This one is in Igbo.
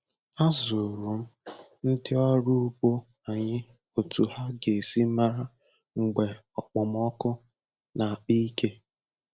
Azụrụ m ndị ọrụ ugbo anyị otú ha ga-esi mara mgbe okpomọkụ na-akpa ike.